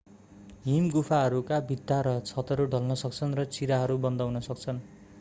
हिमगुफाहरूका भित्ता र छतहरू ढल्न सक्छन् र चिराहरू बन्द हुन सक्छन्